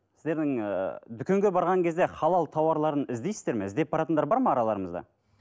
сіздердің ы дүкенге барған кезде халал тауарларын іздейсіздер ме іздеп баратындар бар ма араларыңызда